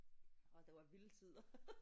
Og det var vilde tider